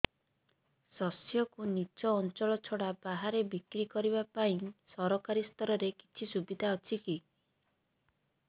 ଶସ୍ୟକୁ ନିଜ ଅଞ୍ଚଳ ଛଡା ବାହାରେ ବିକ୍ରି କରିବା ପାଇଁ ସରକାରୀ ସ୍ତରରେ କିଛି ସୁବିଧା ଅଛି କି